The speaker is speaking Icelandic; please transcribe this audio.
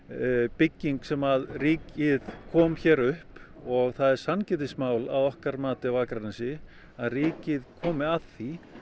bygging sem ríkið kom hér upp og það er sanngirnismál að okkar mati á Akranesi að ríkið komi að því